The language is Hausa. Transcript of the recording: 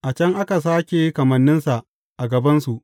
A can aka sāke kamanninsa a gabansu.